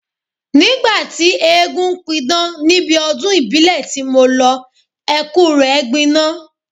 Nígbà tí eégún ń pidán níbi ọdún ìbílẹ̀ tí mo lọ, ẹkú rẹ gbiná.